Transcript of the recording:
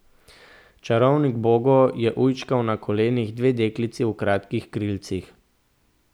Čarovnik Bogo je ujčkal na kolenih dve deklici v kratkih krilcih.